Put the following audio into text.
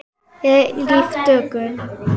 Eilíf dögun.